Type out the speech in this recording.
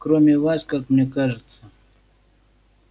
кроме вас как мне кажется